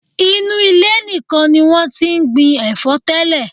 Inú ilẹ̀ nìkan ni wọ́n ti ń gbin ẹ̀fọ́ tẹ́lẹ̀.